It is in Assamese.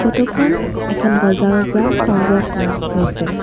ফটো খন এখন বজাৰৰ পৰা সংগ্ৰহ কৰা হৈছে।